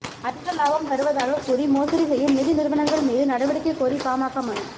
அதிக லாபம் தருவதாகக் கூறி மோசடி செய்யும் நிதி நிறுவனங்கள் மீது நடவடிக்கை கோரி பாமக மனு